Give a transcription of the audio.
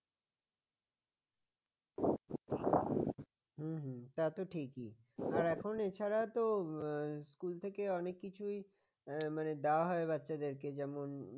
হুম হুম তা তো ঠিকই আর এখন এছাড়া তো school থেকে অনেক কিছুই মানে দেওয়া হয় বাচ্চাদেরকে যেমন